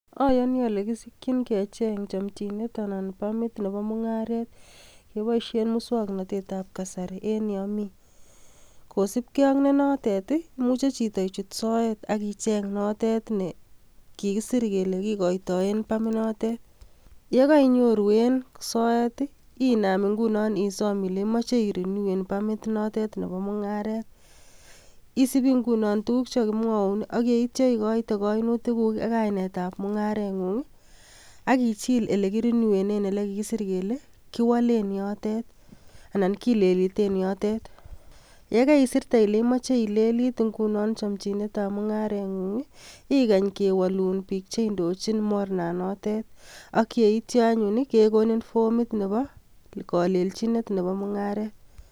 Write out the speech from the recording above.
Oyoni ole kisikchin kecheng chomchinet anan ko pamit nebo mung'aret keboishen muswoknatetab kasari en yomi. Kosibge ak notet ii, imuche chito ichut soet ak icheng notet ne kikisir kele kigoitoen pamit inotet. Ye koinyoru en soet, inam ngunon isom ile imoche irenyuen pamit inotet nebo mung'aret. Isibi ngunon tuguk chekogimwoun ak yeityo igoite koinutiguk ak kainetab mung'areng'ung ak ichill ele kirinyuenen ele kigisir kele kiwolen yotet anan kileliten yotet. Ye keisirte ile imoche ilelit nguno chomchinetab mung'areng'ung ii igany kewolun biik cheindochin mornanotet ak yeityo anyun ii kegonin fomit nebo kolelchinet nebo mung'aret.